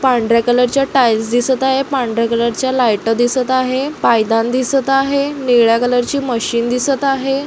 पांढऱ्या colour tiles दिसत आहेत पांढर्‍या कलर च्या लाइट दिसत आहे पाय दान दिसत आह. निळ्या कलर ची मशीन दिसत आहे.